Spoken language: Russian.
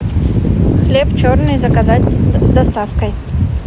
хлеб черный заказать с доставкой